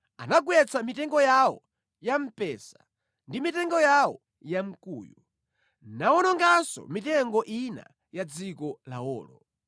Anagwetsa mitengo yawo ya mpesa ndi mitengo yawo ya mkuyu, nawononganso mitengo ina ya mʼdziko lawolo.